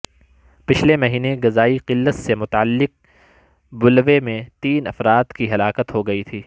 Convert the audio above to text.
پچھلے مہینے غذائی قلت سے متعلق بلوے میں تین افراد کی ہلاکت ہوگئی تھی